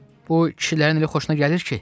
Bu kişilərin elə xoşuna gəlir ki.